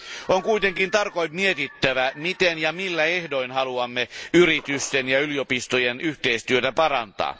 On kuitenkin tarkoin mietittävä, miten ja millä ehdoin haluamme yritysten ja yliopistojen yhteistyötä parantaa.